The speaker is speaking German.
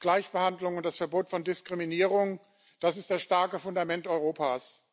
Gleichbehandlung und das Verbot von Diskriminierung das ist das starke Fundament Europas.